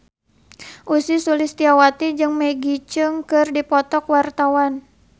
Ussy Sulistyawati jeung Maggie Cheung keur dipoto ku wartawan